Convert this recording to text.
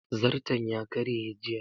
Zairton ya karye jiya